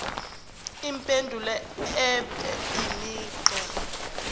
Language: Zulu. impendulo ibe imigqa